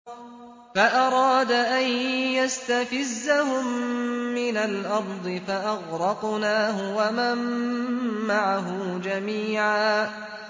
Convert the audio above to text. فَأَرَادَ أَن يَسْتَفِزَّهُم مِّنَ الْأَرْضِ فَأَغْرَقْنَاهُ وَمَن مَّعَهُ جَمِيعًا